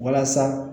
Walasa